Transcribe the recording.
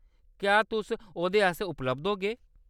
क्या तुस ओह्‌‌‌‌दे आस्तै उपलब्ध होगे?